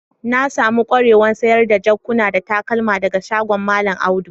Na samu kwarewan sayar da jakuna da takalma daga shagon mallam Audu.